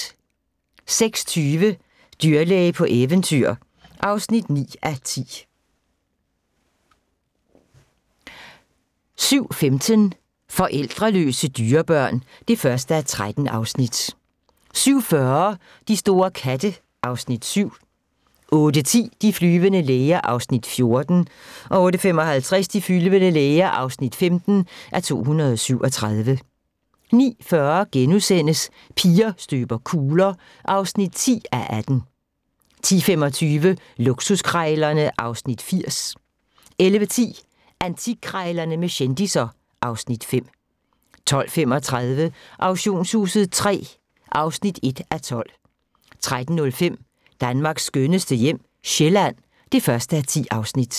06:20: Dyrlæge på eventyr (9:10) 07:15: Forældreløse dyrebørn (1:13) 07:40: De store katte (Afs. 7) 08:10: De flyvende læger (14:237) 08:55: De flyvende læger (15:237) 09:40: Piger støber kugler (10:18)* 10:25: Luksuskrejlerne (Afs. 80) 11:10: Antikkrejlerne med kendisser (Afs. 5) 12:35: Auktionshuset III (1:12) 13:05: Danmarks skønneste hjem - Sjælland (1:10)